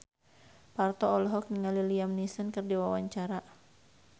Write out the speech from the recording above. Parto olohok ningali Liam Neeson keur diwawancara